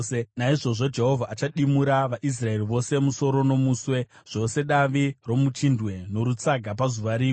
Naizvozvo Jehovha achadimura vaIsraeri vose musoro nomuswe, zvose davi romuchindwe norutsanga pazuva rimwe;